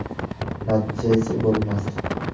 Natija esa ko‘rinmasdi.